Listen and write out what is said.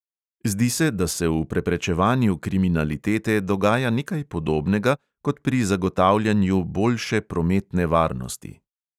Zdi se, da se v preprečevanju kriminalitete dogaja nekaj podobnega kot pri zagotavljanju boljše prometne varnosti.